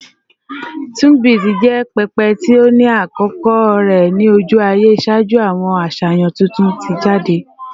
Tunbit jẹ pẹpẹ ti o ni akoko rẹ ni oju-aye ṣaaju awọn aṣayan tuntun ti jade